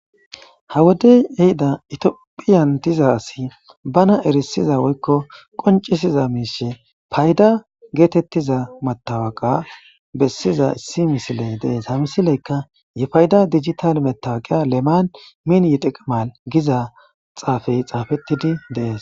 ha wodey yehida itiophiyan diza asi bana erisiza woykko qoncisiza miishe payda geetettiza matawaqa bessiza issi misiley dees ha misileyka yifayda digital metawaqiya leman min yiqiqimal giza xaafey xaafettidi dees